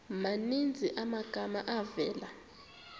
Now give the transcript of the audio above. maninzi amagama avela